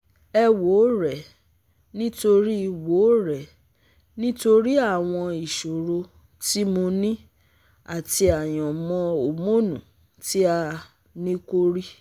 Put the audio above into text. Ẹ wo rẹ̀, nítorí wo rẹ̀, nítorí àwọn ìṣòro tí mo ní àti àyànmọn hórmónu tí a nìkò rí